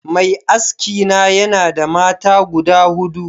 Mai aski na yanada mata guda hudu